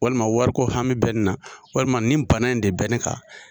Walima wari ko hami bɛ ne na walima nin bana in de bɛ ne kan